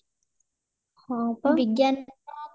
ବିଜ୍ଞାନ ର